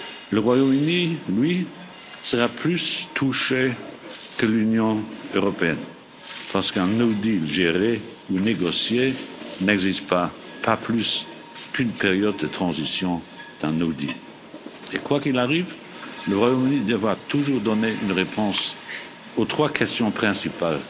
Le Royaume Uni, lui, sera plus touché que l'Union européenne, parce qu'un no deal géré ou négocié n'existe pas, pas plus qu'une période de transition d'un no deal Quoi qu'il arrive, le Royaume Uni devra toujours donner une réponse aux trois questions principales